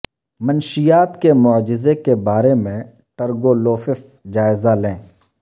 منشیات کے معجزے کے بارے میں ٹرگولوفف جائزہ لیں